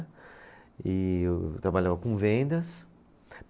E eu trabalhava com vendas.